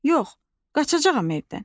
Yox, qaçacağam evdən.